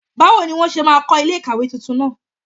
Báwo ni wọ́n ṣe máa kọ́ ilé ìkàwé tuntun náà?